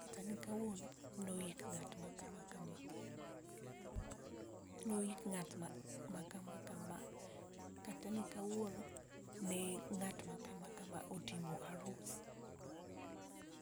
kata ni kawuono no ik ng'at ma kama kama, no ik ng'at ma kama kama kata ni kawuono ng'at ma kama kama ne otimo arus